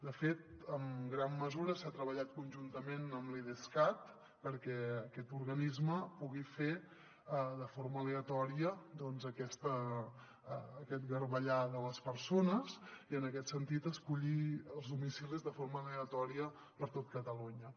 de fet en gran mesura s’ha treballat conjuntament amb l’idescat perquè aquest organisme pugui fer de forma aleatòria doncs aquest garbellar de les persones i en aquest sentit escollir els domicilis de forma aleatòria per tot catalunya